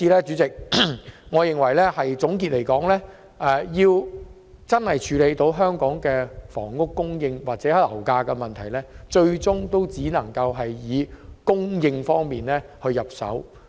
主席，總結來說，我認為要真正處理香港房屋供應或樓價的問題，最終只能從土地供應方面着手。